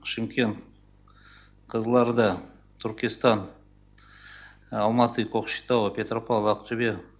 шымкент қызылорда туркестан алматы кокшетау петропавл ақтөбе